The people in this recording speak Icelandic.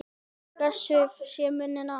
Blessuð sé minning Arnórs.